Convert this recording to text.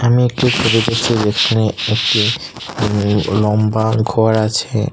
আমি একটি ছবি দেখছি যেখানে একটি উম লম্বা ঘর আছে।